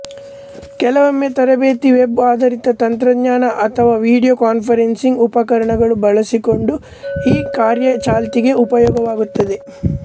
ಕೆಲವೊಮ್ಮೆ ತರಬೇತಿ ವೆಬ್ ಆಧಾರಿತ ತಂತ್ರಜ್ಞಾನ ಅಥವಾ ವಿಡಿಯೋ ಕಾನ್ಫರೆನ್ಸಿಂಗ್ ಉಪಕರಣಗಳು ಬಳಸಿಕೊಂಡು ಈ ಕಾರ್ಯ ಚಾಲ್ತಿಗೆ ಉಪಯೋಗವಾಗುತ್ತದೆ